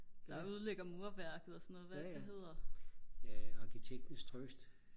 der ødelægger murværket og sådan noget hvad er det nu det hedder